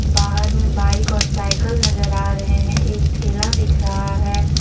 बाहर में बाइक और साइकल नजर आ रहे हैं एक ठेला दिख रहा है।